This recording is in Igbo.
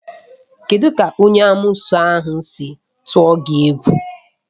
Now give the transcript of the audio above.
Kedụ ka onye amoosu ahụ si tụọ gị egwu?